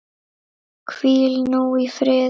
Hvíl nú í friði.